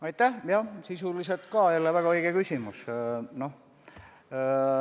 Aitäh, sisuliselt jälle väga õige küsimus!